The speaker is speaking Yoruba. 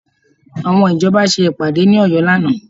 Àwọn ìjọba ṣe ìpàdé ní Ọ̀yọ́ lánàá